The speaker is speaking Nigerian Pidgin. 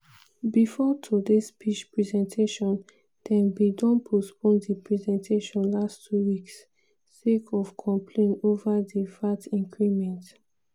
bifor today speech presentation dem bin don postpone di presentation last two weeks sake of complain ova di vat increment.